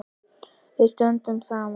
Við stöndum saman!